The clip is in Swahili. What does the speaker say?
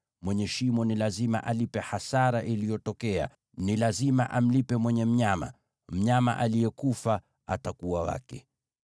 mwenye shimo ni lazima alipe hasara iliyotokea; ni lazima amlipe mwenye mnyama. Mnyama aliyekufa atakuwa wake.